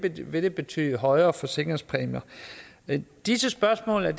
vil det betyde højere forsikringspræmier disse spørgsmål er